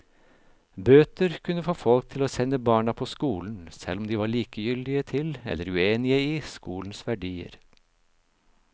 Bøter kunne få folk til å sende barna på skolen, selv om de var likegyldige til eller uenige i skolens verdier.